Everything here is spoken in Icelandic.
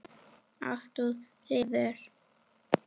Ást og friður.